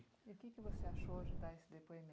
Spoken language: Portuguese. E o que que você achou de dar esse